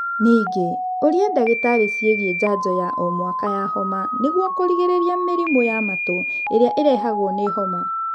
Ningĩ, ũria ndagĩtarĩ ciĩgiĩ njanjo ya o mwaka ya homa nĩguo kũrigĩrĩria mĩrimũ ya matũ ĩrĩa ĩrehagwo nĩ homa